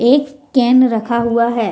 एक कैन रखा हुआ है।